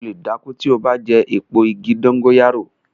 O lè dákú tí o bá jẹ eepo igi dongóyárò